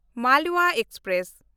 Malwa express